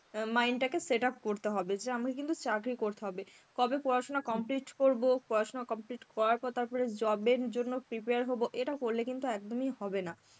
অ্যাঁ mind টাকে setup করতে হবে যে আমায় কিন্তু চাকরি করতে হবে. কবে পড়াশোনা complete করব, পড়াশোনা complete করার পর তারপরে job এর জন্য prepare হব, এটা করলে কিন্তু একদমই হবে না.